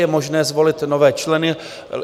Je možné zvolit nové členy.